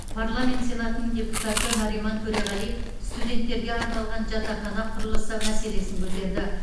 парламент сенатының депутаты нариман төреғалиев студенттерге арналған жатақхана құрылысы мәселесін көтерді